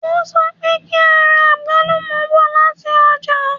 O sọ pé kí a ra àgbálùmọ̀ bọ̀ lati ọ́jà